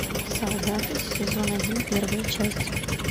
солдаты сезон один первая часть